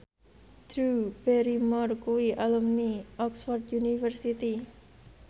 Drew Barrymore kuwi alumni Oxford university